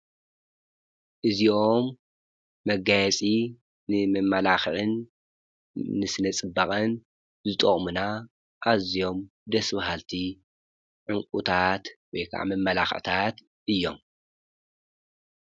እዚኦም መጋያጺ ንምመላኽዕን ንስነ-ጽባቕን ዝጠቕምና ኣዚዮም ደስብሃልቲ ዕንቊታት ወይ ከዓ ምመላኽዕታት እዮም።